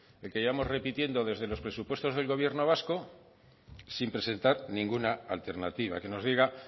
el que llevamos repitiendo desde los presupuestos del gobierno vasco sin presentar ninguna alternativa que nos diga